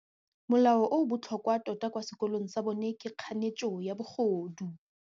Molao o o botlhokwa tota kwa sekolong sa bone ke kganetsô ya bogodu.